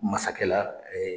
Masakɛ la